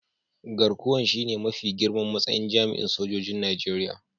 Garkuwan shine mafi girman matsayin jami'in sojoji'n Nijeriya.